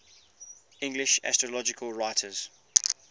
english astrological writers